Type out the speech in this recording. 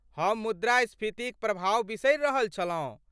हम मुद्रास्फीतिक प्रभाव बिसरि रहल छलहुँ।